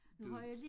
Du